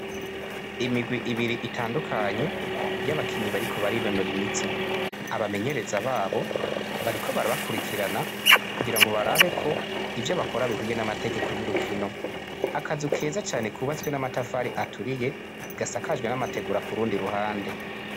Imigwi ibiri itandukanye y'abakinnyi bariko barinonora imitsi abamenyereza babo bariko barabakurikirana kugirango barabe ko ivyo bakora bihwanye n'amategeko y'urukino akazu keza kubatswe n'amatafari aturiye gasakajwe n'amategura kurundi ruhande.